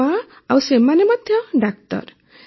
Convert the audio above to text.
ମୋ ମାଆ ଆଉ ସେମାନେ ମଧ୍ୟ ଡାକ୍ତର